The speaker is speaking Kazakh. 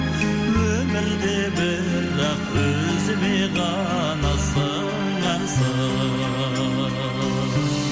өмірде бірақ өзіме ғана сыңарсың